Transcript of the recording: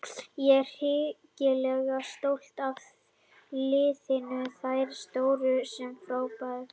Ég er hrikalega stoltur af liðinu, þær stóðu sig frábærlega.